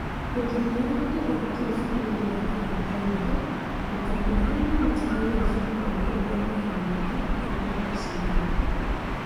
Hĩndĩ ĩmwe ya gĩtũngano kĩu cukuru-inĩ wa Canaan Primary, arutani arĩa maarutaga wĩra ũcio nĩ maugire ũrĩa meeyoneire na ũrĩa meciririe: